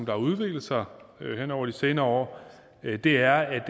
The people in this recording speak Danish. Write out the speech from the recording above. har udviklet sig hen over de senere år er at det er